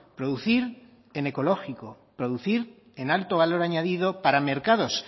producir en ecológico producir en alto valor añadido para mercados